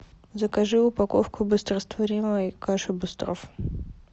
закажи упаковку быстрорастворимой каши быстров